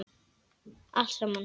Allt saman.